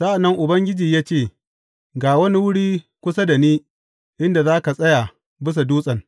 Sa’an nan Ubangiji ya ce, Ga wani wuri kusa da ni inda za ka tsaya bisa dutsen.